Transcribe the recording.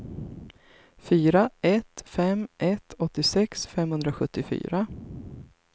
fyra ett fem ett åttiosex femhundrasjuttiofyra